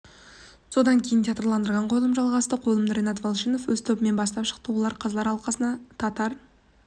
содан кейін театрландырылған қойылым жалғасты қойылымды ренат валишанов өз тобымен бастап шықты олар қазылар алқасына татар